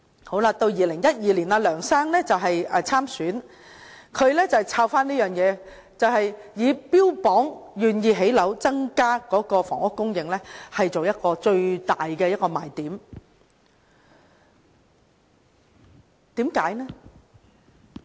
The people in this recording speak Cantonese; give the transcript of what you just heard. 到了2012年，梁先生參選特首，他再提到這項措施，標榜他願意興建樓宇增加房屋供應，以此為最大賣點。